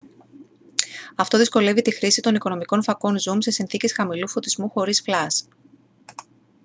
αυτό δυσκολεύει τη χρήση των οικονομικών φακών ζουμ σε συνθήκες χαμηλού φωτισμού χωρίς φλας